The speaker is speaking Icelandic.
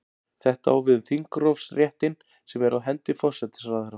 Þetta á við um þingrofsréttinn sem er á hendi forsætisráðherra.